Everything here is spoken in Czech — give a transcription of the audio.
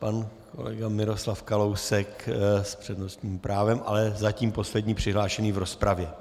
Pan kolega Miroslav Kalousek s přednostním právem, ale zatím poslední přihlášený v rozpravě.